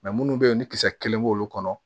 munnu bɛ yen ni kisɛ kelen b'olu kɔnɔ